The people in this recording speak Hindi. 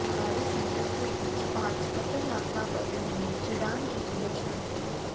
खाड़ी संकट के बीच आज कतर यात्रा पर रहेंगे ईरान के विदेश मंत्री